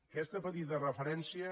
aquesta petita referència